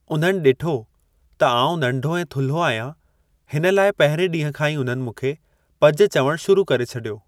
उन्हनि डि॒ठो त आऊं नंढो ऐं थुल्हो आहियां, हिन लाइ पहिरिएं ॾींहुं खां ई उन्हनि मूंखे 'पज' चवणु शुरू करे छडि॒यो।